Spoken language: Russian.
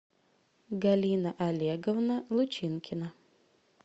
галина олеговна лучинкина